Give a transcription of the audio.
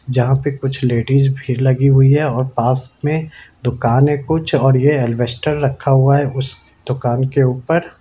जहाँ पे कुछ लेडीज भीड लगी हुई है और पास में दुकान है कुछ और ये एलवेस्टर रखा हुआ है उस दुकान के उपर।